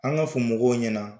An ka fɔ mɔgɔw ɲɛna